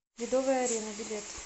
ледовая арена билет